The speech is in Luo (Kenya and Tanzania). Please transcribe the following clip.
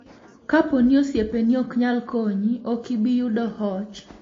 Kapo ni osiepeni ok nyal konyi, ok ibi yudo hoch.